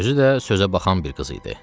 Özü də sözə baxan bir qız idi.